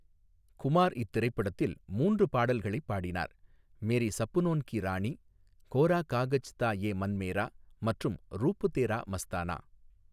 குமார் இத்திரைப்படத்தில் மூன்று பாடல்களைப் பாடினார், 'மேரே சப்னோன் கி ராணி', 'கோரா காகஜ் தா ஏ மன் மேரா' மற்றும் 'ரூப் தேரா மஸ்தானா'.